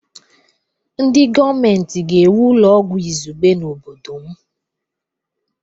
Ndị gọọmentị ga-ewu ụlọ ọgwụ izugbe n'obodo m.